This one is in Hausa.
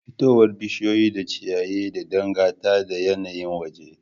Fitowar bishiyu da ciyaye da dangata da yanayin waje